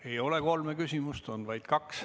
Ei ole kolme küsimust, on vaid kaks.